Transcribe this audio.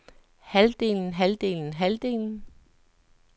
halvdelen halvdelen halvdelen